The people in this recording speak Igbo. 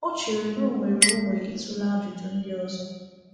Ọ chere na ọ nwere onwe ịtụle ajụjụ ndị ọzọ.